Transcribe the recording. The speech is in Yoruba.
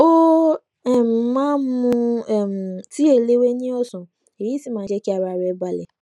ó um máa ń mu um tíì eléwé ní òsán èyí sì máa ń jé kí ara rè balè